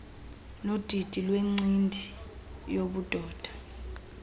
nodidi lwencindi yobudoda